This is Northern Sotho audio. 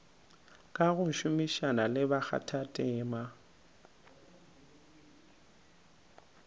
ka go šomišana le bakgathatema